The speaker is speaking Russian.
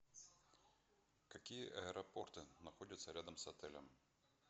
какие аэропорты находятся рядом с отелем